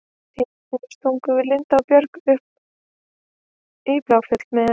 Einu sinni stungum við Linda og Björg af upp í Bláfjöll með